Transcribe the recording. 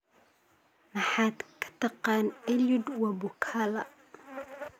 maxaad ka taqaan eliud wabukala